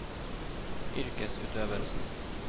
yrkesutøvelsen